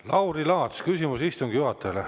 Lauri Laats, küsimus istungi juhatajale.